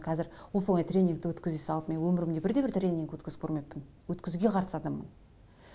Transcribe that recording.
қазір оп онай тренингті өткізе салып мен өмірімде бірде бір тренинг өткізіп көрмеппін өткізуге қарсы адаммын